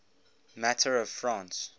matter of france